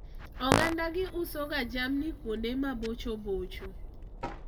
oganda gi uso ga jamni kuonde ma bocho bocho